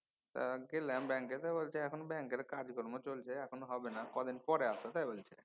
তা গেলাম ব্যাঙ্কে তা বলছে এখন ব্যাঙ্কে কাজকর্ম চলছে এখন হবে না কয়দিন পরে আস। তাই বলছে।